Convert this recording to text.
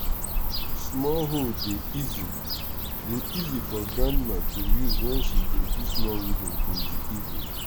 small hoe dey easy dey easy for grandma to use wen she dey do small weeding in the evening